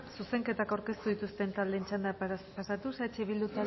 zuzenketak aurkeztu dituzten taldeen txandetara pasatuz eh bildu